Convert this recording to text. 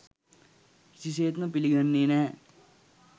කිසිසේත්ම පිළිගන්නේ නැහැ.